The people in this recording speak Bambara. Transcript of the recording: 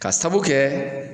Ka sabu kɛ